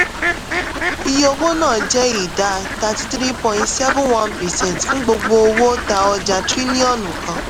iye owó náà jẹ́ ìdá thirty three point seven one percent fún gbogbo owó tá ọjà trílíọ̀nù kan.